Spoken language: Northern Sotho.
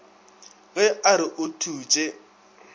ge a re o thutše